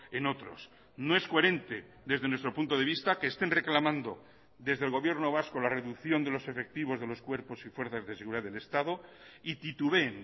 en otros no es coherente desde nuestro punto de vista que estén reclamando desde el gobierno vasco la reducción de los efectivos de los cuerpos y fuerzas de seguridad del estado y titubeen